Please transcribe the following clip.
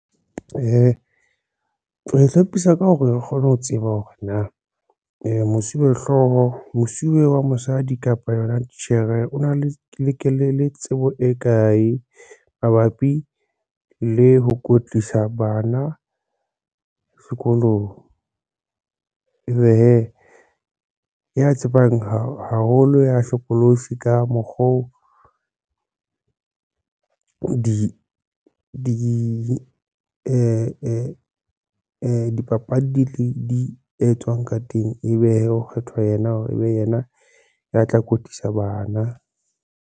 O e hlapisa ka hore re kgone ho tseba hore mosuwehlooho, mosuwe wa mosadi kapa yona titjhere o na le tsebo e kae mabapi le ho kwetlisa bana sekolong, ebe hee ya tsebang haholo ya hlokolosi ka mokgo dipapadi etswang ka teng e be ho kgethwa ena hore e be yena ya tla kwetlisa bana.